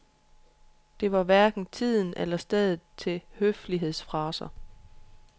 Det var hverken tiden eller stedet til høflighedsfraser.